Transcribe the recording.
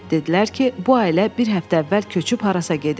Dedilər ki, bu ailə bir həftə əvvəl köçüb harasa gedib.